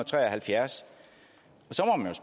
tre og halvfjerds